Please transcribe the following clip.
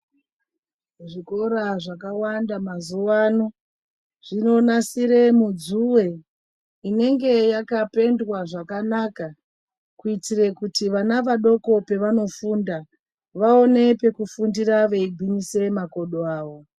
Zvikora zvakawanda mazuva ano zvinonasire mudzuve inenge yakapendwa zvakanaka. Kuitire kuti vana vadoko pevanofunda. Vaone pekufundira veigwinyisire makodo avo.